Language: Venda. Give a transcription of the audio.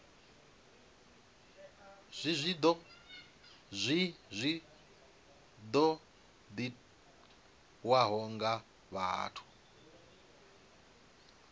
zwi zwi ṱoḓiwaho nga vhathu